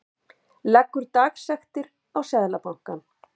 Leggur dagsektir á Seðlabankann